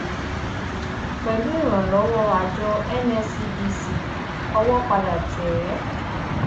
pẹlú ìrànlọwọ àjọ nscdc owó padà tẹ ẹ